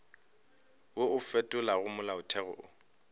wo o fetolago molaotheo o